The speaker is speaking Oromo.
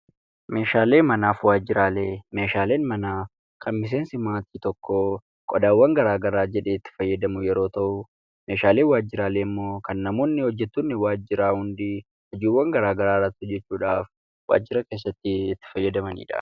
Meeshaaleen manaan kan miseensi maatii tokkoo qodaawwan garaa garaa jedhee itti fayyadamu yeroo ta'u, meeshaaleen waajjiraalee ammoo kanneen namoonni hojjettoonni waajjiraa hundi hojiiwwan gara garaa ittti hojjechuudhaaf waajjira keessatti itti fayyadamanidha.